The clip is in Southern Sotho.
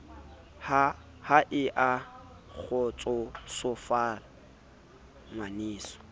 ha e a kgotsosofala ngwaneso